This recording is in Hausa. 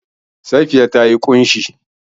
Safiya ta yi ƙunshi.